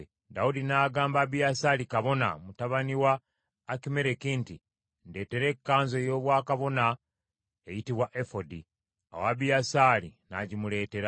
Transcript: Dawudi n’agamba Abiyasaali kabona, mutabani wa Akimereki nti, “Ndeetera ekkanzu ey’obwakabona eyitibwa efodi.” Awo Abiyasaali n’agimuleetera.